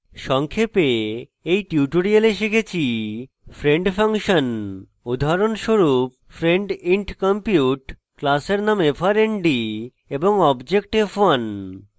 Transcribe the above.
সংক্ষেপে in tutorial শিখেছি friend function উদাহরণস্বরূপ friend int compute class name frnd এবং object f1